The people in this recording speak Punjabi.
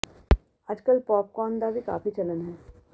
ਅਜ ਕਲ੍ਹ ਪੌਪ ਕੌਰਨ ਦਾ ਵੀ ਕਾਫੀ ਚਲਨ ਹੈ